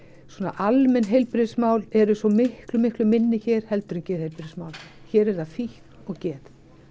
almenn heilbrigðismál eru svo miklu miklu minni hér heldur en geðheilbrigðismál hér er það fíkn og geð